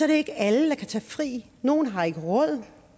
det ikke alle der kan tage fri nogle har ikke råd